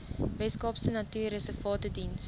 weskaapse natuurreservate diens